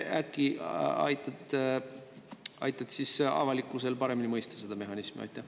Äkki sa aitad avalikkusel paremini mõista seda mehhanismi?